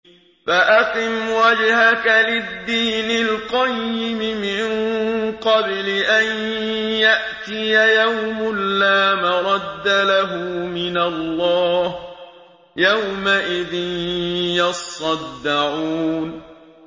فَأَقِمْ وَجْهَكَ لِلدِّينِ الْقَيِّمِ مِن قَبْلِ أَن يَأْتِيَ يَوْمٌ لَّا مَرَدَّ لَهُ مِنَ اللَّهِ ۖ يَوْمَئِذٍ يَصَّدَّعُونَ